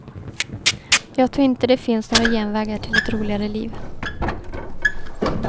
Jag tror inte det finns några genvägar till ett roligare liv.